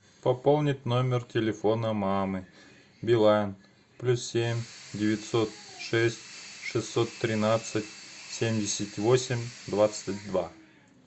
пополнить номер телефона мамы билайн плюс семь девятьсот шесть шестьсот тринадцать семьдесят восемь двадцать два